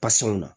na